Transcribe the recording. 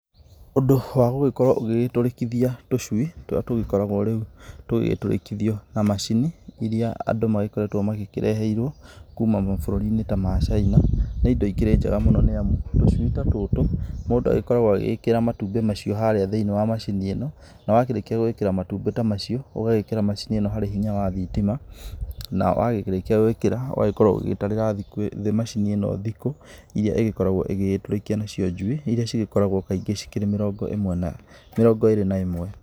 Ũndũ wa gũgĩkorwo ũgĩtũrĩkithia tũcui tũrĩa tũgĩkoragwo rĩu tũgĩgĩtũrĩkithio na macini iria andũ magĩkoretwo mareheirwo kuma ta mabũrũri-inĩ ta ma Caina, nĩ indo ikĩrĩ njega, nĩ amu tũcui ta tũtũ mũndũ agĩkoragwo agĩgĩkĩra matumbĩ thĩiniĩ wa macini ĩno, na wakĩrĩkia gwĩkĩra matumbĩ macio, ũgagĩkĩra macini ĩno harĩ hinya wa thitima, na warĩkia gwĩkĩra ũgagĩkorwo ũgĩgĩtarĩra macini ĩno thikũ irĩa ĩgĩgĩkoragwo ĩgĩtũrĩkia nacio njui irĩa cigĩkoragwo kaingĩ cikĩrĩ mĩrongo ĩrĩ na ĩmwe.